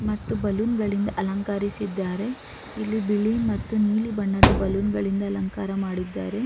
ಮತ್ತು ಬಲೂನ ಗಳಿಂದ ಅಲಂಕಾರಿಸಿದಾರೆ ಇಲ್ಲಿ ಬಿಳಿ ಮತ್ತು ನೀಲಿ ಬಣ್ಣದ ಬಲೂನ್ ಗಳಿಂದ ಅಲಂಕಾರ ಮಾಡಿದ್ದಾರೆ.